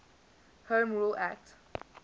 home rule act